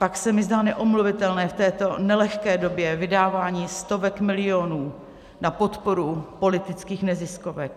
Pak se mi zdá neomluvitelné v této nelehké době vydávání stovek milionů na podporu politických neziskovek.